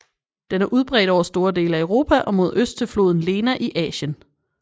Den er udbredt over store dele af Europa og mod øst til floden Lena i Asien